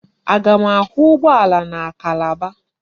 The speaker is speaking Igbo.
Aga m ahụ ụgbọala na Calabar?